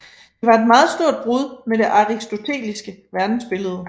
Det var et meget stort brud med det aristoteliske verdensbillede